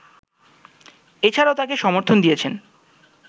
এছাড়াও তাকে সমর্থন দিয়েছেন